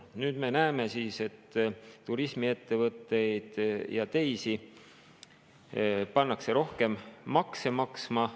Nüüd me näeme, et turismiettevõtteid ja teisi pannakse rohkem makse maksma.